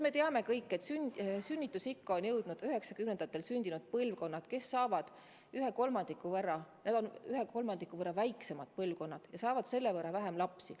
Me teame kõik, et sünnitusikka on jõudnud üheksakümnendatel sündinud põlvkond, kes on ühe kolmandiku võrra väiksem põlvkond ja saab selle võrra vähem lapsi.